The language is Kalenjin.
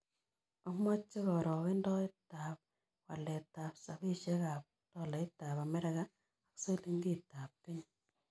Amoche karogendoetatap waletap rapisyekap tolaitap amerika ak silingiitap kenya